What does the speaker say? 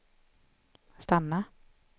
stanna